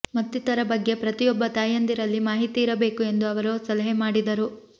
ಮತ್ತಿತರ ಬಗ್ಗೆ ಪ್ರತಿಯೊಬ್ಬ ತಾಯಂದಿರಲ್ಲಿ ಮಾಹಿತಿ ಇರಬೇಕು ಎಂದು ಅವರು ಸಲಹೆ ಮಾಡಿದರು